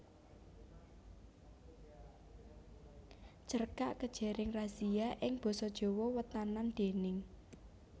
Cerkak Kejaring Razia ing basa Jawa Wétanan déning